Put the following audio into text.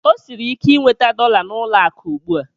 O siri ike inweta dọla n'ụlọ akụ ugbu a.